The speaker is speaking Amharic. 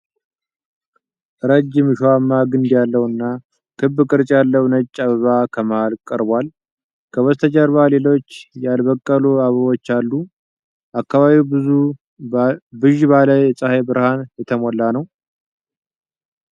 ረጅም እሾሃማ ግንድ ያለው እና ክብ ቅርጽ ያለው ነጭ አበባ ከመሃል ቀርቧል። ከበስተጀርባ ሌሎች ያልበቀሉ አበቦች አሉ፤ አካባቢው ብዥ ባለ የፀሐይ ብርሃን የተሞላ ነው።